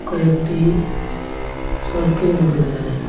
ও একটি চরকির মতো দেখা যাচ্ছে।